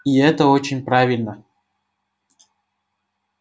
и это очень правильно